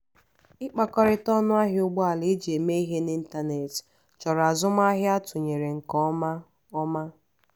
ịkpakọrịta ọnụ ahịa ụgbọala eji eme ihe n'ịntanetị chọrọ azụmahịa atụnyere nke ọma ọma